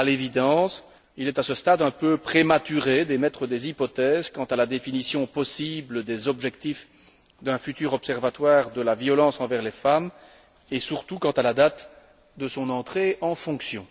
À l'évidence, il est à ce stade un peu prématuré d'émettre des hypothèses quant à la définition possible des objectifs d'un futur observatoire de la violence envers les femmes et, surtout, quant à la date de son entrée en fonction.